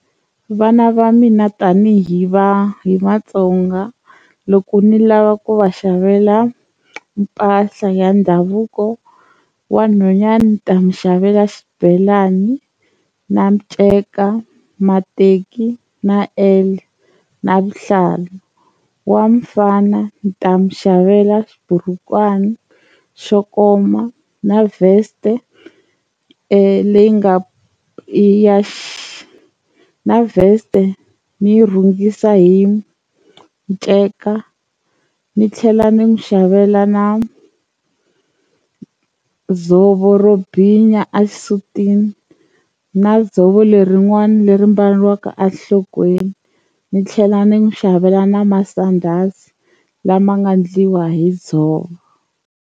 Vana va mina tanihi va hi Matsonga loko ni lava ku va xavela mpahla ya ndhavuko wa nhwanyana ni ta n'wi xavela xibelani na nceka, mateki, na na vuhlalu wa mfana ta n'wi xavela xiburukwani xo koma na vest leyi nga ya na vest ni yi rhungisa hi nceka ni tlhela ni n'wi xavela na dzovo ro binya a xisutini na dzovo lerin'wana leri mbariwaka enhlokweni ni tlhela ni n'wu xavela na masandhasi lama nga endliwa hi dzovo.